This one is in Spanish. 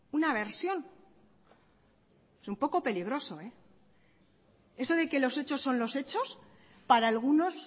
una versión es un poco peligroso eso de que los hechos son los hechos para algunos